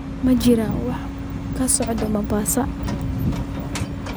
ma jiraan wax ka socda mombasa